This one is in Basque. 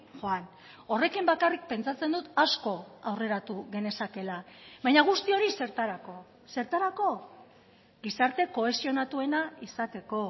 joan horrekin bakarrik pentsatzen dut asko aurreratu genezakeela baina guzti hori zertarako zertarako gizarte kohesionatuena izateko